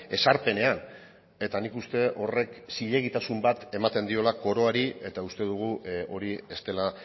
ezarpenean eta nik uste horrek zilegitasun bat ematen diola koroari eta uste dugu hori ez dela